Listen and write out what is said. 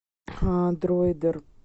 дроидер